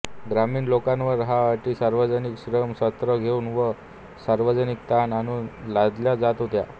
ग्रामीण लोकांवर ह्या अटी सार्वजनिक श्रम सत्र घेऊन व सार्वजनिक ताण आणून लादल्या जात होत्या